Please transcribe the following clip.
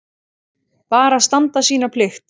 Bara standa sína plikt.